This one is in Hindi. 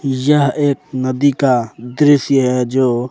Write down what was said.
यह एक नदी का दृश्य है जो।